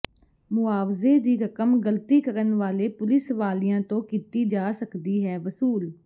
ਮੁਆਵਜ਼ੇ ਦੀ ਰਕਮ ਗਲਤੀ ਕਰਨ ਵਾਲੇ ਪੁਲਿਸ ਵਾਲਿਆਂ ਤੋਂ ਕੀਤੀ ਜਾ ਸਕਦੀ ਹੈ ਵਸੂਲ